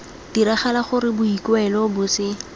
diragala gore boikuelo bo se